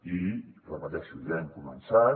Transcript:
i ho repeteixo ja hem començat